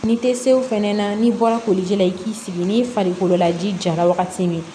N'i tɛ se o fɛnɛ na n'i bɔra koliji la i k'i sigi n'i farikolo la ji jara wagati min